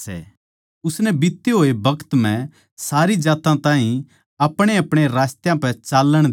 उसनै बीत्ते होए टेम म्ह सारी जात्तां ताहीं अपणेअपणे रास्तयां पै चाल्लण दिया